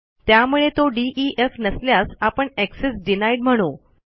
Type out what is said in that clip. त्यामुळे तो डीईएफ नसल्यास आपण एक्सेस डिनाईड म्हणू